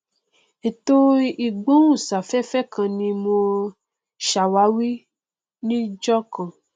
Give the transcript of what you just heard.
ètò ìgbóhùn sáfẹfẹ kan ni mo sàwárí níjọkan